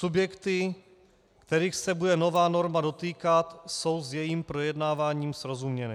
Subjekty, kterých se bude nová norma dotýkat, jsou s jejím projednáváním srozuměny.